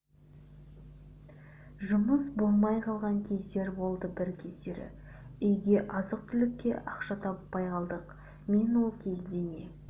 жұмыс болмай қалған кездер болды бір кездері үйге азық-түлікке ақша таппай қалдық мен ол кезде не